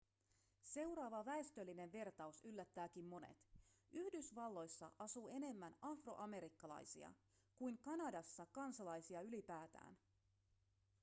seuraava väestöllinen vertaus yllättääkin monet yhdysvalloissa asuu enemmän afroamerikkalaisia kuin kanadassa kansalaisia ylipäätään